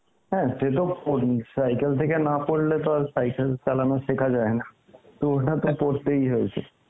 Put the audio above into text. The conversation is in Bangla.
হ্যাঁ সে তো পরি, cycle থেকে না পড়লে তো আর cycle চালানো সেখা জায়েনা, তো ওটা তো পরতেই হয়েছে